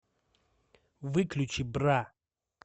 выключи бра